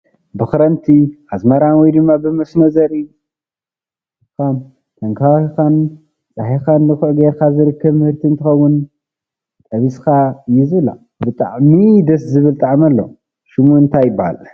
ብክረምቲ ኣዝመራን ወይ ድማ ብመስኖ ዘርኢካ ተንከባኪብካን ፃሂካን ድኩዒ ገይርካ ዝርከብ ምህርት እንትከውን ጠቢስካ እዩ ዝብላዕ ብጣዕሚ ድስ ዝብል ጣዕሚ ኣለዎ። ሽሙ እንታይ ይብሃል?